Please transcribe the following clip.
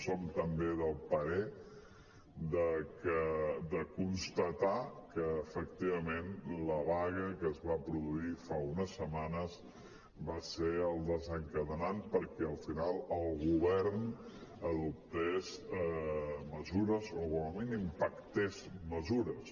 som també del parer de constatar que efectivament la vaga que es va produir fa unes setmanes va ser el desencadenant perquè al final el govern adoptés mesures o com a mínim pactés mesures